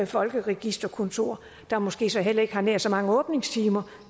folkeregisterkontor der måske så heller ikke har nær så mange åbningstimer